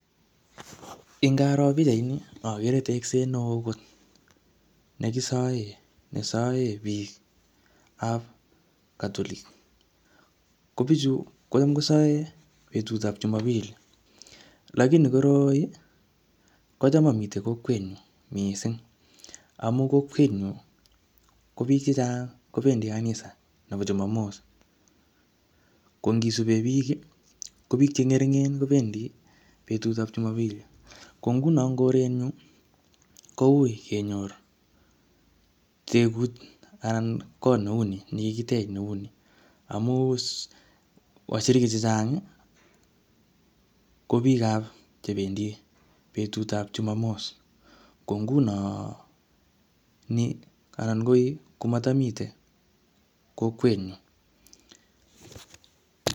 ngaro pichaini ogere tekseet nee oo kot nekisoen nesoen bikaap catholic netamkossoen en betut tab chumombili lakini koroi kocham momiten kokwenyun missing amun kokwenyun kobiik chechang kobendi kanisa nobo chumomoss ng'ong'isupen biik kobek cheng'ering'en kobendi betutab chumobili kong'unon en korenyun kouii kenyor tegut anan kot neu nii nekikitech kouni amun koyonik chechang kobiik chebendi betut tab chumomos kong'unon kooi komotomiten kokwenyun.